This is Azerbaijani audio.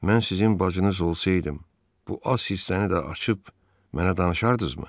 Mən sizin bacınız olsaydım, bu az hissəni də açıb mənə danışardınızmı?